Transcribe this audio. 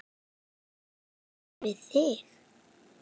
Á ég hér við þing.